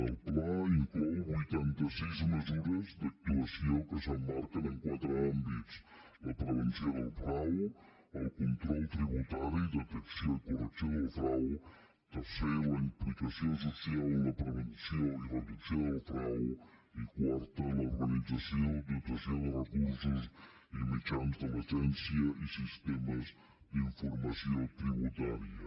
el pla inclou vuitanta sis mesures d’actuació que s’emmarquen en quatre àmbits la prevenció del frau el control tributari detecció i correcció del frau tercer la implicació social en la prevenció i reducció del frau i quart l’organització dotació de recursos i mitjans de l’agència i sistemes d’informació tributària